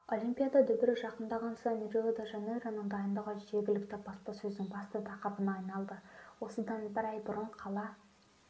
олимпиада дүбірі жақындаған сайын рио-де-жанейроның дайындығы жергілікті баспасөздің басты тақырыбына айналды осыдан бір ай бұрын қала